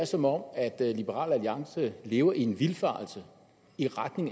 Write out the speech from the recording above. som om liberal alliance lever i den vildfarelse